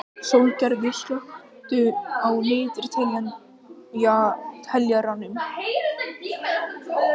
Sólgerður, slökktu á niðurteljaranum.